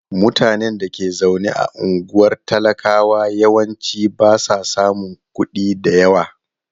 Mutanen da ke zaune a unguwar talakawa yawanci ba sa samun kuɗi da yawa.